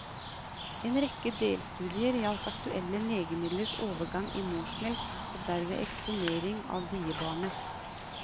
En rekke delstudier gjaldt aktuelle legemidlers overgang i morsmelk og derved eksponering av diebarnet.